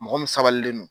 Mɔgɔ min sabalilen don